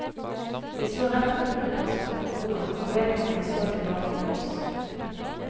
Vi så rett bort på en person på broen, og vedkommende så tilbake på oss.